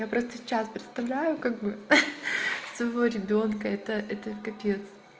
я просто сейчас представляю как бы своего ребёнка это это капец